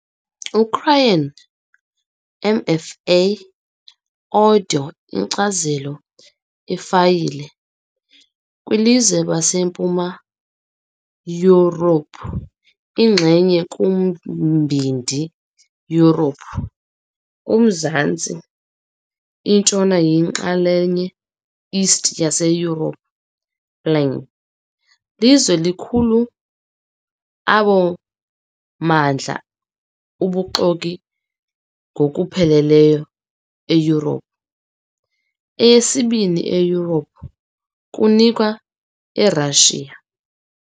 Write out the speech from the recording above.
Ukraine, MFA Audio Inkcazelo ifayile, - kwilizwe baseMpuma Yurophu inxenye kuMbindi Yurophu, kumazantsi-ntshona yinxalenye East yaseYurophu Plain. Lizwe likhulu abo mmandla ubuxoki ngokupheleleyo eYurophu, eyesibini eYurophu, kunikwa eRashiya.